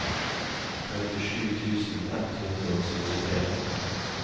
trettisju tusen ett hundre og syttitre